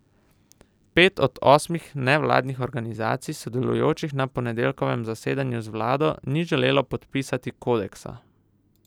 Pet od osmih nevladnih organizacij, sodelujočih na ponedeljkovem zasedanju z vlado, ni želelo podpisati kodeksa.